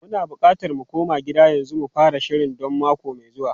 Muna bukatar mu koma gida yanzu mu fara shiri don mako mai zuwa.